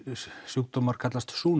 sjúkdómar kallast